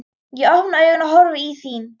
Ég opna augun og horfi í þín.